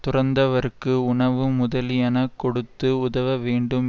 துறந்தவர்க்கு உணவு முதலியனக் கொடுத்து உதவவேண்டும்